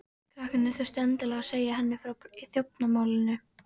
Krakkarnir þurftu endilega að segja henni frá þjófnaðarmálinu.